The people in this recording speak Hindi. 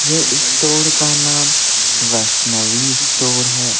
ये स्टोर का नाम वैष्णवी स्टोर है।